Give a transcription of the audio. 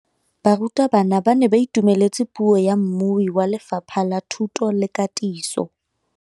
Barutabana ba ne ba itumeletse puô ya mmui wa Lefapha la Thuto le Katiso.